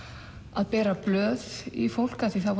að bera blöð í fólk af því þá